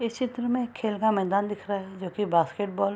इस चित्र में एक खेल का मैदान दिख रहा है जोकि बास्केट बॉल --